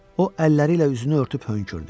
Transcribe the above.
O əlləri ilə üzünü örtüb hönkürdü.